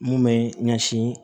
Mun bɛ ɲɛsin